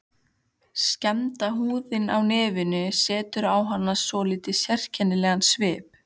Skemmda húðin á nefinu setur á hana svolítið sérkennilegan svip.